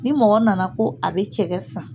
Ni mɔgɔ nana ko a bɛ cɛgɛ san